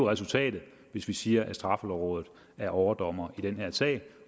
resultatet hvis vi siger at straffelovrådet er overdommer i den her sag